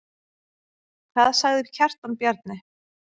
Hvað sagði Kjartan Bjarni?